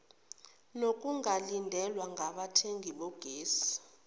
nokungalindelwa ngabathengi bogesi